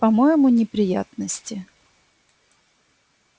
по-моему неприятности